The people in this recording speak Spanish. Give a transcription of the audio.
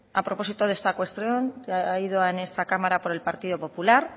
a propósito de esta cuestión que ha ido en esta cámara por el partido popular